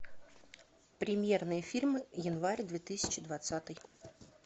премьерные фильмы январь две тысячи двадцатый